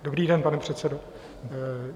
Dobrý den, pane předsedo.